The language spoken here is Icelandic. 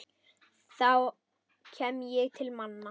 þá kem ég til manna.